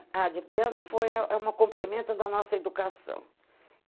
Ah, de piano foi é uma complemento da nossa educação.